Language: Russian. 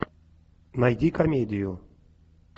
найди комедию